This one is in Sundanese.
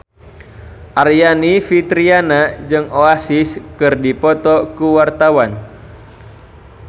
Aryani Fitriana jeung Oasis keur dipoto ku wartawan